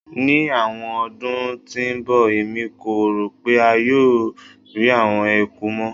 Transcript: Ni awọn ọdun ti n bọ Emi ko ro pe a yoo rii awọn eku mọ